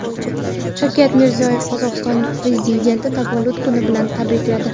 Shavkat Mirziyoyev Qozog‘iston prezidentini tavallud kuni bilan tabrikladi.